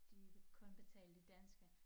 De vil kun betale de danske